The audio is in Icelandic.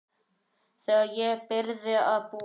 Þegar ég byrjaði að búa.